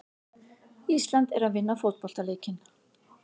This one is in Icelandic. Ísland er að vinna fótboltaleikinn.